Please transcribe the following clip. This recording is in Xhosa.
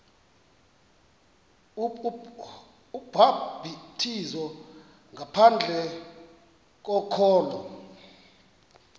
ubhaptizo ngaphandle kokholo